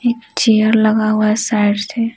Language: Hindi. एक चेयर लगा हुआ है साइड से--